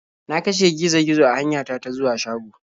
Na kashe gizo -gizo a hanyata ta zuwa shago.